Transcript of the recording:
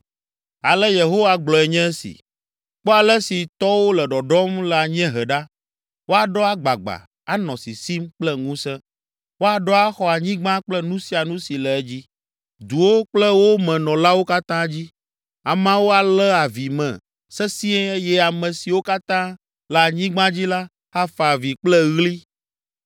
Ale Yehowa gblɔe nye esi: “Kpɔ ale si tɔwo le ɖɔɖɔm le anyiehe ɖa, woaɖɔ agbagba, anɔ sisim kple ŋusẽ. Woaɖɔ axɔ anyigba kple nu sia nu si le edzi, duwo kple wo me nɔlawo katã dzi. Ameawo alé avi me sesĩe eye ame siwo katã le anyigba dzi la, afa avi kple ɣli,